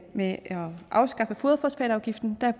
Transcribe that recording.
at afskaffe foderfosfatafgiften